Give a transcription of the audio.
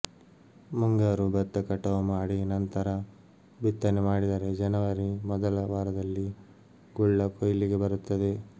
ಮುಂಗಾರು ಭತ್ತ ಕಟಾವು ಮಾಡಿ ನಂತರ ಬಿತ್ತನೆ ಮಾಡಿದರೆ ಜನವರಿ ಮೊದಲ ವಾರದಲ್ಲಿ ಗುಳ್ಳ ಕೊಯ್ಲಿಗೆ ಬರುತ್ತದೆ